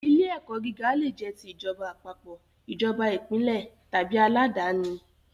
Ilé ẹ̀kọ́ gíga le jẹ́ ti ìjọba àpapọ̀, ìjọba ìpínlẹ̀ tàbí aládàníi